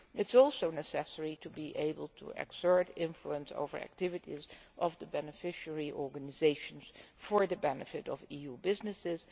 It is also necessary to be able to exert influence on the activities of the beneficiary organisations for the benefit of EU businesses.